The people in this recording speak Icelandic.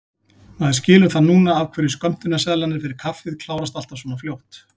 Maður skilur það núna af hverju skömmtunarseðlarnir fyrir kaffið klárast alltaf svona fljótt!